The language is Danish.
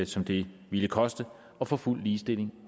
som det ville koste at få fuld ligestilling